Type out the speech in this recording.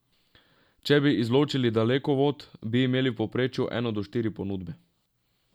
Če bi izločili Dalekovod, bi imeli v povprečju eno do štiri ponudbe.